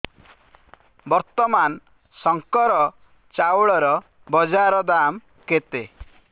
ବର୍ତ୍ତମାନ ଶଙ୍କର ଚାଉଳର ବଜାର ଦାମ୍ କେତେ